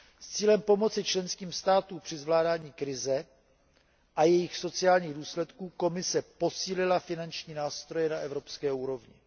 S cílem pomoci členským státům při zvládání krize a jejích sociálních důsledků Komise posílila finanční nástroje na evropské úrovni.